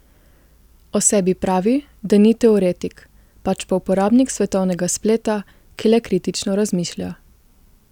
O sebi pravi, da ni teoretik, pač pa uporabnik svetovnega spleta, ki le kritično razmišlja.